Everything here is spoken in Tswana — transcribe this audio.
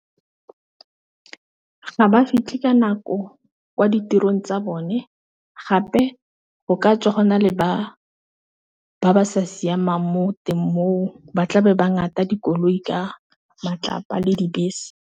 Ga ba fitlha ka nako kwa ditirong tsa bone gape go ka tswa gona le ba ba sa siamang mo teng moo, ba tlabe ba ngata dikoloi ka matlapa le dibese.